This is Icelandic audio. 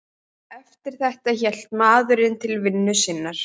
Eftir þetta hélt maðurinn til vinnu sinnar.